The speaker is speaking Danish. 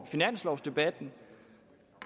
finanslovdebatten